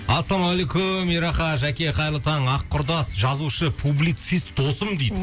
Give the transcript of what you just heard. ассалумағалейкум ераха жәке қайырлы таң ақ құрдас жазушы публицист досым дейді